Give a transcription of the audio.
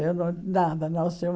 Eu não, nada, não sei.